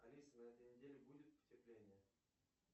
алиса на этой неделе будет потепление